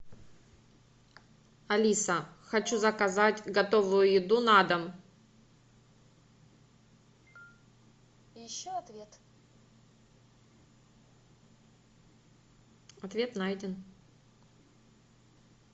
алиса хочу заказать готовую еду на дом ответ найден